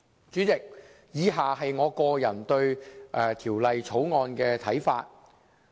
主席，以下是我個人對《條例草案》的看法。